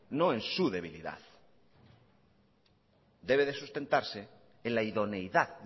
no es su debilidad debe de sustentarse en la idoneidad